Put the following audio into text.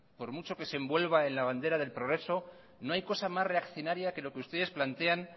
por mucho que se envuelva en la bandera del progreso no hay cosa más reaccionaria que lo que ustedes plantean